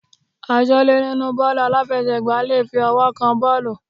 Aṣọ́lẹ́ nínú bọ́ọ̀lù aláfiẹsẹ̀ gbá le fi ọwọ́ rẹ̀ kan bọ́ọ̀lù.